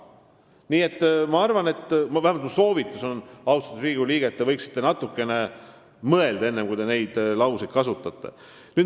Nii et ma arvan või vähemalt minu soovitus on, austatud Riigikogu liige, et te võiksite natukene mõelda, enne kui te selliseid lauseid kasutate.